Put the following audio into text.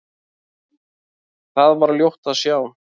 Þar var ljótt að sjá.